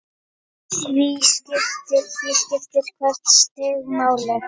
Því skiptir hvert stig máli.